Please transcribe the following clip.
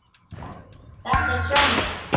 Þetta er Svenni.